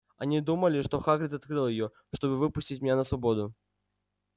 они думали что хагрид открыл её чтобы выпустить меня на свободу